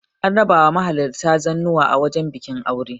an raba wa mahalarta zannuwa a wajen bikin aure